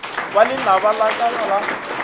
ba lenaba la ka la